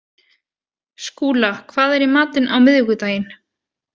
Skúla, hvað er í matinn á miðvikudaginn?